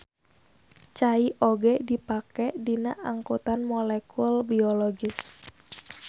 Cai oge dipake dina angkutan molekul biologis.